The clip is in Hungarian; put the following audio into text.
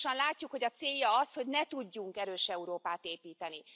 Pontosan látjuk, hogy a célja az, hogy ne tudjunk erős Európát építeni.